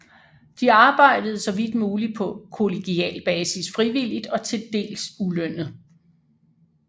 De arbejdede så vidt muligt på kollegial basis frivilligt og til dels ulønnet